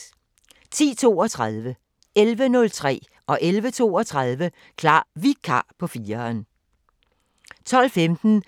10:32: Klar Vikar på 4'eren 11:03: Klar Vikar på 4'eren 11:32: Klar Vikar på 4'eren